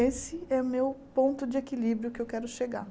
Esse é o meu ponto de equilíbrio que eu quero chegar.